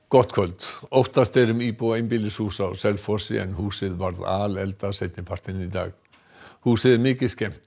gott kvöld óttast er um íbúa einbýlishúss á Selfossi en húsið varð seinni partinn í dag húsið er mikið skemmt